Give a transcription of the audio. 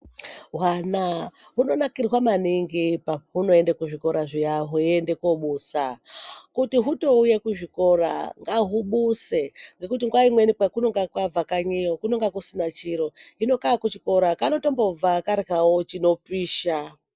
Hwana hunonakirwa maningi pahunoende kuzvikora zviya hweiende kobusa kuti hutouya kuzvikora ngahubuse ngekuti nguwa imweni kwekunonga kabva kanyiyo kunonga kusina chiro hino kakuchikora kanotombobva karyawo zvinopisha.